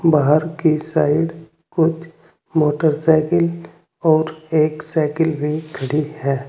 बाहर की साइड कुछ मोटरसाइकिल और एक साइकिल भी खड़ी है।